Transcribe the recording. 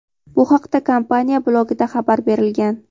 Bu haqda kompaniya blogida xabar berilgan.